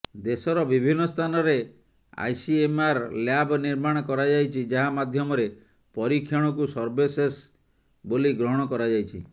ଦେଶର ବିଭିନ୍ନ ସ୍ଥାନରେ ଆଇସିଏମ୍ଆର୍ ଲ୍ୟାବ୍ ନିର୍ମାଣ କରାଯାଇଛି ଯାହା ମାଧ୍ୟମରେ ପରୀକ୍ଷଣକୁ ସର୍ବଶେଷ ବୋଲି ଗ୍ରହଣ କରାଯାଇଛି